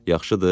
Yaxşıdır?